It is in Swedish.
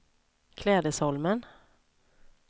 Klädesholmen